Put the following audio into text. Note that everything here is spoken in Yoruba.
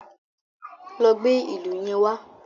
Lọ gbé ìlù yẹn wá.